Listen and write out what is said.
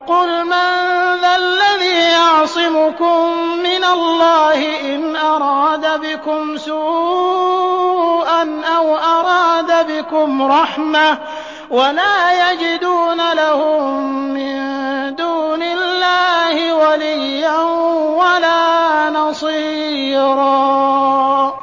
قُلْ مَن ذَا الَّذِي يَعْصِمُكُم مِّنَ اللَّهِ إِنْ أَرَادَ بِكُمْ سُوءًا أَوْ أَرَادَ بِكُمْ رَحْمَةً ۚ وَلَا يَجِدُونَ لَهُم مِّن دُونِ اللَّهِ وَلِيًّا وَلَا نَصِيرًا